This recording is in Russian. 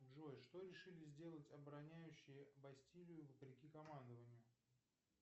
джой что решили сделать обороняющие бастилию вопреки командованию